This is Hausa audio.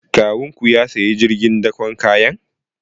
Kawunku ya sayi jirgin dakon kayan?